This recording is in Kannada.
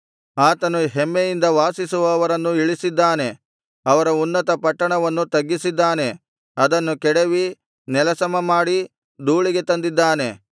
ಆತನು ಹೆಮ್ಮೆಯಿಂದ ವಾಸಿಸುವವರನ್ನು ಇಳಿಸಿದ್ದಾನೆ ಅವರ ಉನ್ನತ ಪಟ್ಟಣವನ್ನು ತಗ್ಗಿಸಿದ್ದಾನೆ ಅದನ್ನು ಕೆಡವಿ ನೆಲಸಮಮಾಡಿ ಧೂಳಿಗೆ ತಂದಿದ್ದಾನೆ